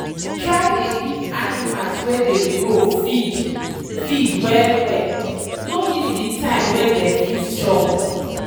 try dey give animals wey dey grow feed feed well wellno miss the time wey dey fit chop.